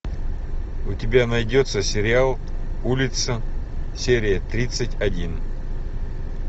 у тебя найдется сериал улица серия тридцать один